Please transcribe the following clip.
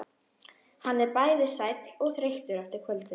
Hann er bæði sæll og þreyttur eftir kvöldið.